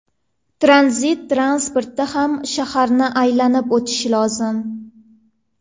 Tranzit transporti ham shaharni aylanib o‘tishi lozim.